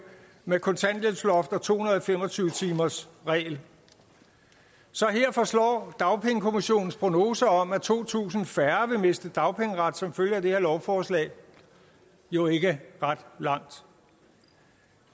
med kontanthjælpsloft og to hundrede og fem og tyve timers regel så her forslår dagpengekommissionens prognose om at to tusind færre vil miste dagpengeret som følge af det her lovforslag jo ikke ret langt